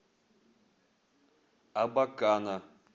абакана